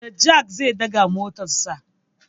Da jak zai ɗaga motarsa.